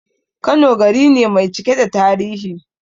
Kano gari ne mai cike da tarihi